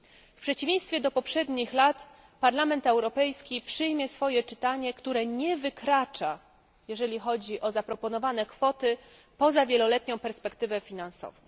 W przeciwieństwie do poprzednich lat Parlament Europejski przyjmie swoje czytanie, które nie wykracza, jeżeli chodzi o zaplanowane kwoty, poza wieloletnią perspektywę finansową.